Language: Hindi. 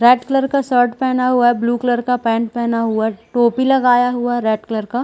रेड कलर का शर्ट पेहना हुआ है ब्लू कलर का पैंठ पेहना हुआ है टोपी लगाया हुआ है रेड कलर का--